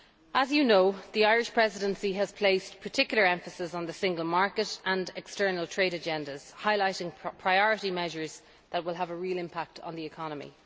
As you know, the Irish Presidency has placed particular emphasis on the single market and external trade agendas, highlighting priority measures that will have a real impact on the economy.